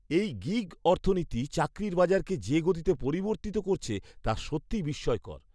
এই গিগ অর্থনীতি চাকরির বাজারকে যে গতিতে পরিবর্তিত করছে তা সত্যিই বিস্ময়কর।